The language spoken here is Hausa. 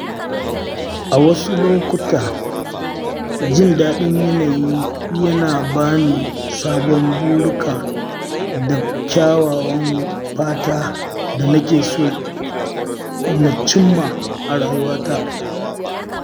A wasu lokuta, jin daɗin yanayi yana ba ni sabon burika da kyawawan fata da na ke so na cimma a rayuwata.